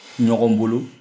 Ɲɔgɔn bolo